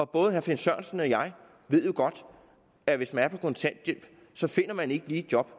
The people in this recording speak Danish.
både herre finn sørensen og jeg ved jo godt at hvis man er på kontanthjælp så finder man ikke lige et job